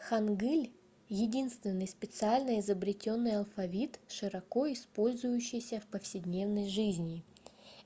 хангыль — единственный специально изобретённый алфавит широко использующийся в повседневной жизни.